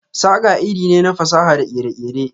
saƙa iri ne na fasaha da kere-kere.